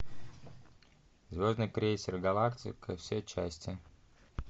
звездный крейсер галактика все части